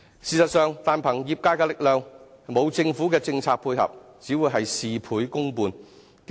事實上，單憑業界的力量，沒有政府的政策配合，只會是事倍功半。